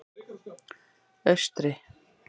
Austri